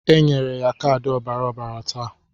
E nyere ya kaadị ọbara ọbara taa.